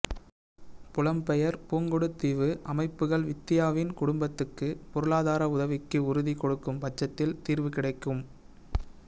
புலம்பெயர் புங்குடுதீவு அமைப்புகள் வித்தியாவின் குடும்பத்துக்கு பொருளாதார உதவிக்கு உறுதி கொடுக்கும் பட்சத்தில் தீர்வு கிடைக்கும்